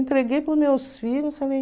Entreguei para os meus filhos. Falei